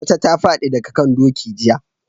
Wata ta fadi daga kan doki jiya